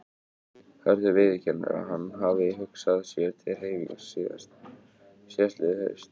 Hörður viðurkennir að hann hafi hugsað sér til hreyfings síðastliðið haust.